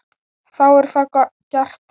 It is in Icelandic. Þá er það gert.